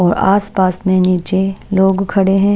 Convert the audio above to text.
और आसपास में नीचे लोग खड़े हैं।